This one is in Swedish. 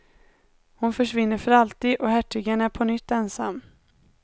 Hon försvinner för alltid, och hertigen är på nytt ensam.